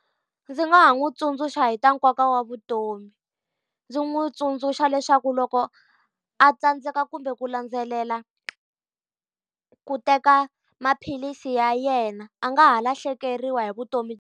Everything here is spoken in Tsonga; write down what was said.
Ndzi nga ha n'wi tsundzuxa hi ta nkoka wa vutomi. Ndzi n'wi tsundzuxa leswaku loko a tsandzeka kumbe ku landzelela ku teka maphilisi ya yena a nga ha lahlekeriwa hi vutomi .